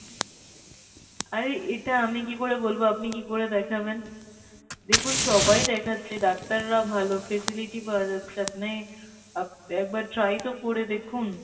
আরে এটা আমি কি করে বলবো আপনি কি করে দেখবেন দেখুন সবাই দেখাচ্ছে ডাক্তারাও ভালো facility পাওয়া যাচ্ছে আপনি আপ একবার try করে দেখুন ?